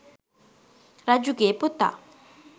රජුගේ පුතා